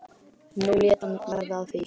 Nú lét hann verða af því.